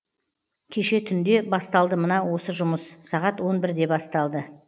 кеше түнде басталды мына осы жұмыс сағат он бірде басталды